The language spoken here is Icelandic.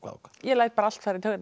ég læt bara allt fara í taugarnar á